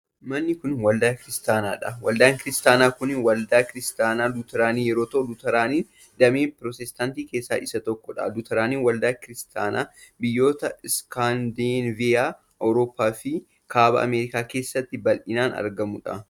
Manni kun waldaa Kiristaanaa dha. Waldaan Kiristaanaa kun waldaa Kiristaanaa Lutaraanii yoo ta'u, Lutaraaniin damee pirootestaantii keessaa isa tokko dha. Lutaraaniin waldaa Kiristaanaa biyyoota iskaandineevizyaa Awurooppaa fi kaaba Ameerikaa keessatti bal'inaan argamuu dha.